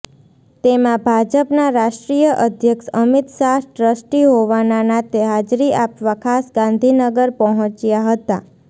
તેમાં ભાજપના રાષ્ટ્રીય અધ્યક્ષ અમિત શાહ ટ્રસ્ટી હોવાના નાતે હાજરી આપવા ખાસ ગાંધીનગર પહોંચ્યા હતા